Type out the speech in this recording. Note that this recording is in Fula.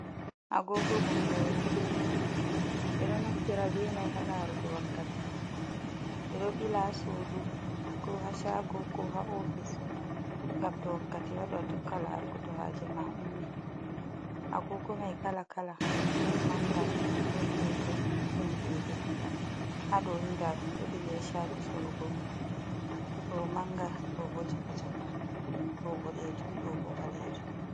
Agoogo bonngooru, ɓe ɗo naftira be may haa laarugo wakkati. Ɓe ɗo ɓila haa suudu, ko haa caago, ko haa ofis, ngam to wakkati waɗi haa tokka laargo, to haaje ma ummi. Agoogo may kala kala, ɗon mannga, ɗon peetel, ɗon deydey, haa ɗoni ndaa ɗum do bili, haa caago sorugo, ɗo mannga, ɗo bo caka caka, ɗo boɗeejum, ɗo bo ɓaleejum.